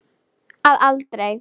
Að aldrei.